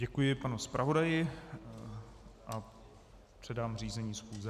Děkuji panu zpravodaji a předám řízení schůze.